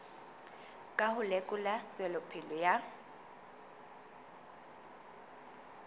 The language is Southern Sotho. ka ho lekola tswelopele ya